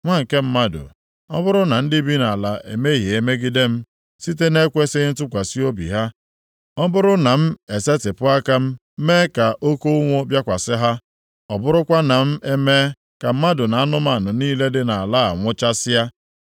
“Nwa nke mmadụ, ọ bụrụ na ndị bi nʼala emehie megide m, site nʼekwesighị ntụkwasị obi ha, ọ bụrụ na m esetipụ aka m mee ka oke ụnwụ bịakwasị ha, ọ bụrụkwa na m emee ka mmadụ na anụmanụ niile dị nʼala a nwụchasịa,